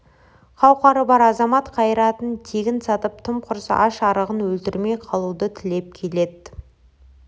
қауқары бар азамат қайратын тегін сатып тым құрса аш-арығын өлтірмей қалуды тілеп келеді